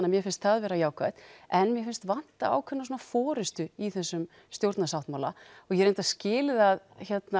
að mér finnst það vera jákvætt en mér finnst vanta ákveðna forystu í þessum stjórnarsáttmála og ég reyndar skil það